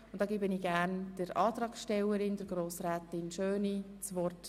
Ich gebe der Antragstellerin das Wort.